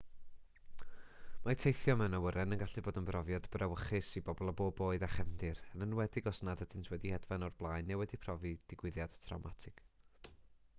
mae teithio mewn awyren yn gallu bod yn brofiad brawychus i bobl o bob oed a chefndir yn enwedig os nad ydynt wedi hedfan o'r blaen neu wedi profi digwyddiad trawmatig